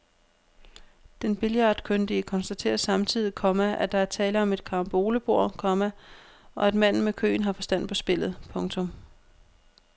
Den billardkyndige konstaterer samtidig, komma at der er tale om et carambolebord, komma og at manden med køen har forstand på spillet. punktum